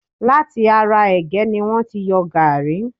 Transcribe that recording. Láti ará ẹ̀gẹ́ ni wọ́n ti yọ gaàrí.